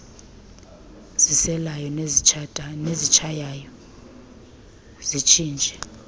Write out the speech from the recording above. ziselayo nezitshayayo zitshintshe